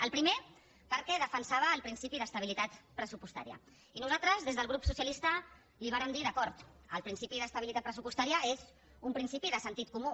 el primer perquè defensava el principi d’estabilitat pressupostària i nosaltres des del grup socialista li vàrem dir d’acord el principi d’estabilitat pressupostària és un principi de sentit comú